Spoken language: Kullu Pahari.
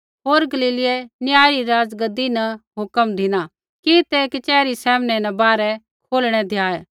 होर गलीलीयै न्याय री राज़गद्दी न हुक्म धिना कि तै कचहरी सामनै न बाहरै कौढणै द्याऐ